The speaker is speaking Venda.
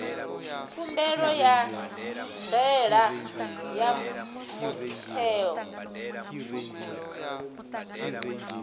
khumbelo ya ndaela ya muthelo